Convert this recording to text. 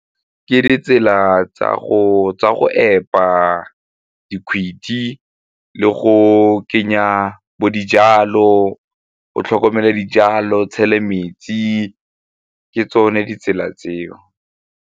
Ke ditsela tsa go epa dikgwedi le go kenya bo dijalo, o tlhokomela dijalo o tshele metsi ke tsone ditsela tseo.